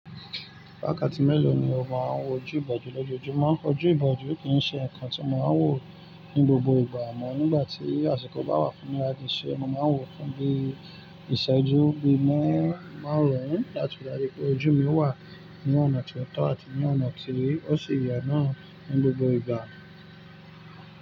Wákàtí mélòó ni o máa ń wojú ìbòjú lójoojúmọ́? Ojú ìbòjú kì í ṣe ǹkan tí mo máa ń wò ní gbogbo ìgbà à mọ́ nígbà tí àsìkò bá wà fún mi láti ṣe ẹ, mo máa ń wò ó fún bí ìṣẹ́jú, bí mẹ́ máàrún láti ri dájù pé ojú mi wà ní ọ̀nà tí ó tọ́ àti ní ọ̀nà tí ó si yẹ náà ní gbogbo ìgbà.